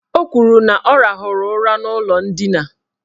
O kwuru na ọ rahụrụ ụra n' ụlọ ndina.